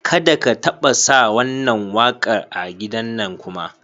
Ka da ka taɓa sa wannan waƙa a gidannan kuma.